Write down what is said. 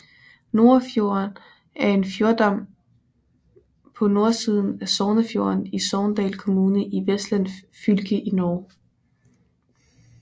Norafjorden er en fjordarm på nordsiden af Sognefjorden i Sogndal kommune i Vestland fylke i Norge